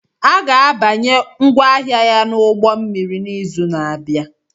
A ga-abanye ngwaahịa ya n'ụgbọ mmiri n'izu na-abịa